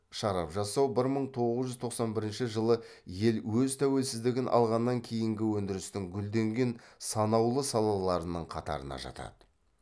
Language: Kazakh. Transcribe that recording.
шарап жасау бір мың тоғыз жүз тоқсан бірінші жылы ел өз тәуелсіздігін алғаннан кейінгі өндірістің гүлденген санаулы салаларының қатарына жатады